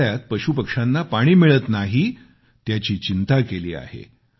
उन्हाळ्यात पशुपक्ष्यांना पाणी मिळत नाही त्याची चिंता केली आहे